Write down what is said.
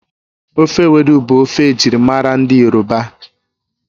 Ofe ewedu bụ ofe ejirimara ndị yoroba